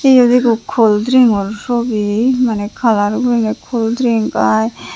iyot ekko cold drink o sobi maneh color guriney cold drink ai.